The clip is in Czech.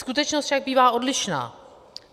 Skutečnost však bývá odlišná.